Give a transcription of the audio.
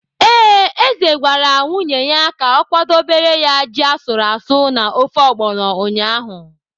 Ee, eze gwara nwunye ya ka o kwadobere ya ji asụrụ asụ na ofe ọgbọnọ ụnyahụ.